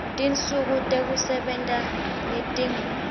tinsuku tekusebenta letingu